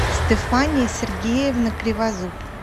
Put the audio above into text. стефания сергеевна кривозуб